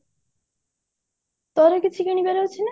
ତୋର କିଛି କିଣିବାର ଅଛି ନା